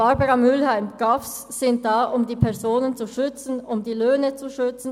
Barbara Mühlheim: GAV sind da, um die Personen und die Löhne zu schützen.